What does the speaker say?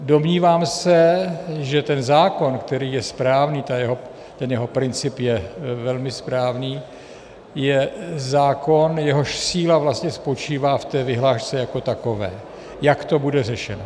Domnívám se, že ten zákon, který je správný, ten jeho princip je velmi správný, je zákon, jehož síla vlastně spočívá v té vyhlášce jako takové, jak to bude řešit.